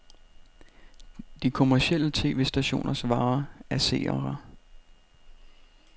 De kommercielle tv-stationers vare er seere.